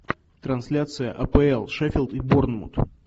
трансляция апл шеффилд и борнмут